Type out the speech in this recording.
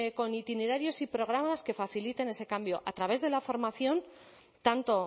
con itinerarios y programas que faciliten ese cambio a través de la formación tanto